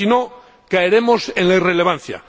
Si no, caeremos en la irrelevancia.